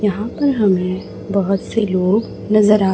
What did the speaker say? यहां पर हमें बहोत से लोग नजर आ--